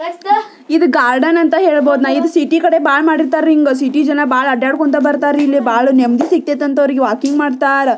ಇದು ಗಾರ್ಡನ್ ಅಂತ ಹೇಳ್ಬಹುದು ಸಿಟಿ ಕಡೆ ಬಹಳ ಮಾಡಿರ್ತಾರೆ ರೀ ಹಿಂಗೇ ಸಿಟಿ ಜನ ಬಹಳ ಅಡ್ಡಾಡುಕೊಂಡು ಬರತಾರೆ ಇಲ್ಲಿ ನೆಮ್ಮದಿ ಸಿಕ್ತತೆ ಅಂತ ವಾಕಿಂಗ್ ಮಾಡ್ತಾರೆ.